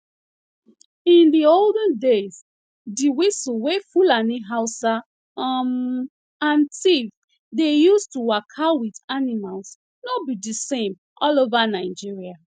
in di olden days di whistle wey fulani hausa um and tiv dey use to waka with animals no be di same all over nigeria